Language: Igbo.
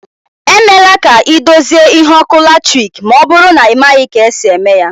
E mela ka ị dozie ihe ọkụ latiriki ma ọbụrụ na ị maghị ka esi eme ya